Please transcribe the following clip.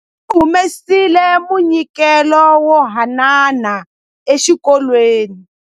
Va humesile munyikelo wo haanana exikolweni.